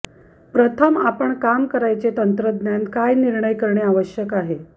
प्रथम आपण काम करायचे तंत्रज्ञान काय निर्णय करणे आवश्यक आहे